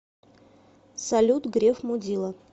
салют греф мудила